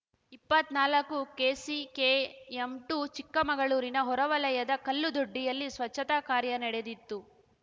ಇಪ್ಪತ್ನಾಲಕ್ಕು KCKM ಟು ಚಿಕ್ಕಮಗಳೂರಿನ ಹೊರವಲಯದ ಕಲ್ಲುದೊಡ್ಡಿಯಲ್ಲಿ ಸ್ವಚ್ಛತಾ ಕಾರ್ಯ ನಡೆಯಿತು